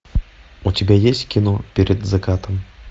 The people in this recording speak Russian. у тебя есть кино перед закатом